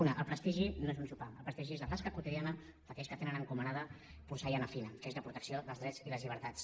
una el prestigi no és un sopar el prestigi és la tasca quotidiana d’aquells que tenen encomanada porcellana fina que és la protecció dels drets i les llibertats